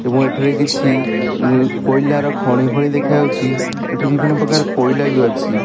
ଏବଂ ଏଟା ରେ କିଛି କୋଇଲା ର ଖଣି ଭଲି ଦେଖା ଯାଉଛି ଏଠାରେ ବିଭିନ୍ନ ପ୍ରକାରର କୋଇଲା ଅଛି।